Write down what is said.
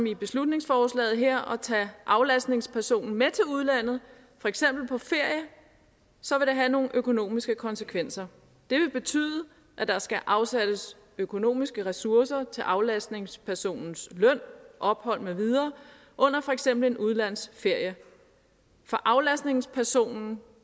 i beslutningsforslaget her og tage aflastningspersonen med til udlandet for eksempel på ferie så vil det have nogle økonomiske konsekvenser det vil betyde at der skal afsættes økonomiske ressourcer til aflastningspersonens løn ophold med videre under for eksempel en udlandsferie for aflastningspersonen